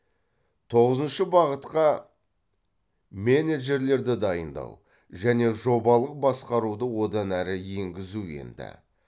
тоғызыншы бағытқа менеджерлерді дайындау және жобалық басқаруды одан әрі енгізу енді